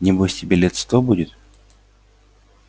небось тебе лет сто будет